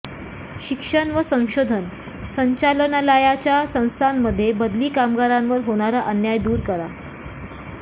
शिक्षण व संशोधन संचालनालयाच्या संस्थांमध्ये बदली कामगारांवर होणारा अन्याय दूर करा